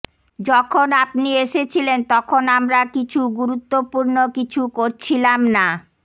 যখন আপনি এসেছিলেন তখন আমরা কিছু গুরুত্বপূর্ণ কিছু করছিলাম না